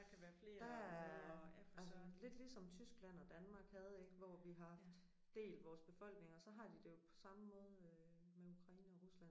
Der ej men lidt ligesom Tyskland og Danmark havde ik hvor vi har haft delt vores befolkninger så har de på samme måde med Ukraine og Rusland